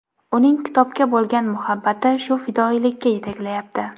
Uning kitobga bo‘lgan muhabbati shu fidoyilikka yetaklayapti.